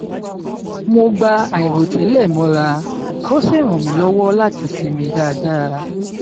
mo gba àìrò tẹlẹ mọra ó sì ràn mí lọwọ láti sinmi dáadáa